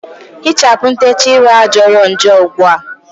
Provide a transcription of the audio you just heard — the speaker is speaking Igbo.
Hichapụ ntechaa ịrụ a jọrọ njọ ugbua!